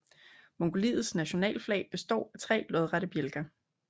Mongoliets nationalflag består af tre lodrette bjælker